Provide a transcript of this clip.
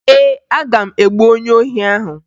Ee, aga m egbu onye ohi ahụ